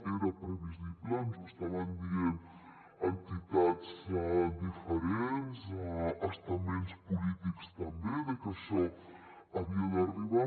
era previsible ens ho estaven dient entitats diferents estaments polítics també que això havia d’arribar